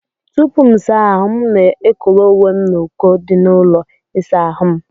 Tupuu M saa ahụ, M na-ekowe uwe m n'uko dị n'ụlọ ịsa ahụ m.